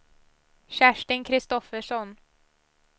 Kerstin Kristoffersson